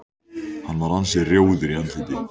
Hann var ansi rjóður í andliti.